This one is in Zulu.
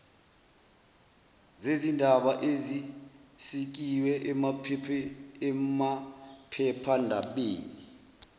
zezindaba ezisikiwe emaphephandabeni